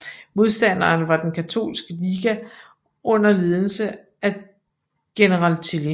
Modstanderen var Den Katolske Liga under ledelse af General Tilly